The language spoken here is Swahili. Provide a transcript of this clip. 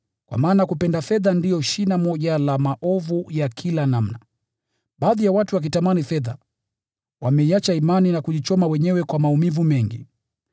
Kwa maana kupenda fedha ndiyo shina moja la maovu ya kila namna. Baadhi ya watu wakitamani fedha, wameiacha imani na kujichoma wenyewe kwa maumivu mengi.